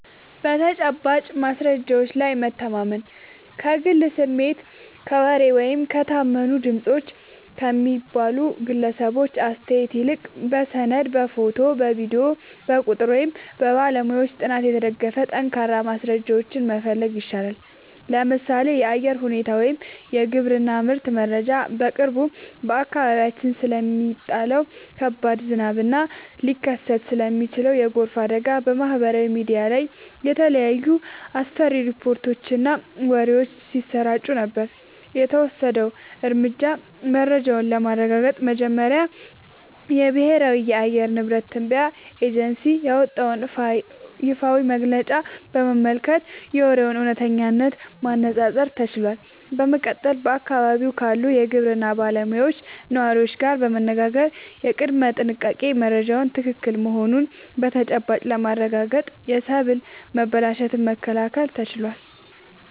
በተጨባጭ ማስረጃዎች ላይ መታመን፦ ከግል ስሜት፣ ከወሬ ወይም "የታመኑ ድምፆች" ከሚባሉ ግለሰቦች አስተያየት ይልቅ፣ በሰነድ፣ በፎቶ፣ በቪዲዮ፣ በቁጥር ወይም በባለሙያዎች ጥናት የተደገፉ ጠንካራ ማስረጃዎችን መፈለግ ይሻላል። ምሳሌ (የአየር ሁኔታ ወይም የግብርና ምርት መረጃ)፦ በቅርቡ በአካባቢያችን ስለሚጣለው ከባድ ዝናብ እና ሊከሰት ስለሚችል የጎርፍ አደጋ በማህበራዊ ሚዲያ ላይ የተለያዩ አስፈሪ ሪፖርቶችና ወሬዎች ሲሰራጩ ነበር። የተወሰደው እርምጃ፦ መረጃውን ለማረጋገጥ መጀመሪያ የብሔራዊ የአየር ንብረት ትንበያ ኤጀንሲ ያወጣውን ይፋዊ መግለጫ በመመልከት የወሬውን እውነተኝነት ማነፃፀር ተችሏል። በመቀጠልም በአካባቢው ካሉ የግብርና ባለሙያዎችና ነዋሪዎች ጋር በመነጋገር የቅድመ-ጥንቃቄ መረጃው ትክክል መሆኑን በተጨባጭ በማረጋገጥ የሰብል መበላሸትን መከላከል ተችሏል።